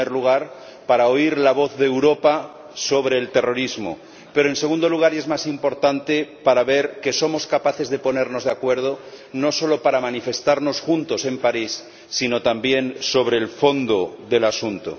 En primer lugar para oír la voz de Europa sobre el terrorismo, pero, en segundo lugar, y es más importante, para ver que somos capaces de ponernos de acuerdo no solo para manifestarnos juntos en París, sino también sobre el fondo del asunto.